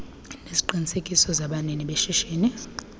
neziqinisekiso zabanini beshishini